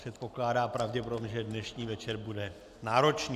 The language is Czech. Předpokládá pravděpodobně, že dnešní večer bude náročný.